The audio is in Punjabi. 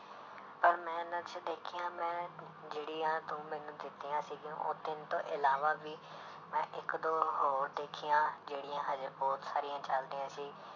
ਪਰ ਮੈਂ ਇਹਨਾਂ 'ਚ ਦੇਖੀਆਂ ਮੈਂ ਜਿਹੜੀਆਂ ਤੂੰ ਮੈਨੂੰ ਦਿੱਤੀਆਂ ਸੀਗੀਆਂ ਉਹ ਤਿੰਨ ਤੋਂ ਇਲਾਵਾ ਵੀ ਮੈਂ ਇੱਕ ਦੋ ਹੋਰ ਦੇਖੀਆਂ ਜਿਹੜੀਆਂ ਹਜੇ ਬਹੁਤ ਸਾਰੀਆਂ ਚੱਲਦੀਆਂ ਸੀ।